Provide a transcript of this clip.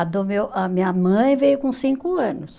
A do meu, a minha mãe veio com cinco anos.